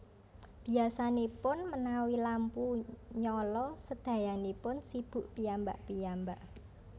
Biyasanipun menawi lampu nyala sedayanipun sibuk piyambak piyambak